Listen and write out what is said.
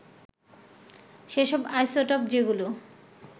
সেসব আইসোটোপ যেগুলো